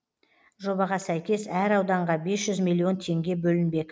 жобаға сәйкес әр ауданға бес жүз миллион теңге бөлінбек